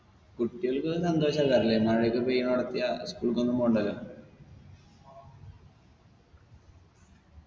കുട്ടിയാൾക്കൊക്കെ സന്തോഷല്ലായിരുന്നോ ഇ മഴയൊക്കെ പെയ്യണവിടെത്തിയ school ക്കൊന്നും പോണ്ടല്ലോ